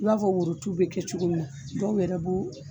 I b'a fɔ woro tu bɛ kɛ cogo min na dɔw yɛrɛ b'o